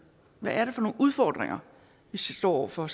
hvad det er for nogle udfordringer vi står over for